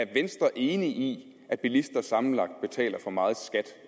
venstre enig at bilister sammenlagt betaler for meget